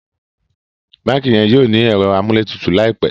bánkì yen yóò ní Ẹ̀rọ amúlétutù láìpé